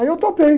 Aí eu topei.